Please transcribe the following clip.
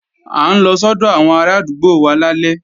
À ń lọ sọ́dọ̀ àwọn arádúgbò wa lálẹ́